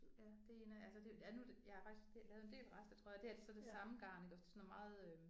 Ja det er en af altså det ja nu det jeg har faktisk lavet en del rester tror jeg det her det så det samme garn det er sådan noget meget øh